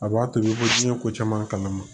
A b'a tobi ko diɲɛ ko caman kalama